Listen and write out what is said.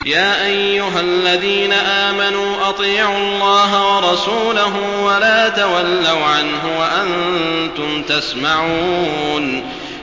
يَا أَيُّهَا الَّذِينَ آمَنُوا أَطِيعُوا اللَّهَ وَرَسُولَهُ وَلَا تَوَلَّوْا عَنْهُ وَأَنتُمْ تَسْمَعُونَ